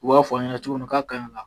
U b'a fɔ an ɲɛna cogo minna ko ka ɲi ka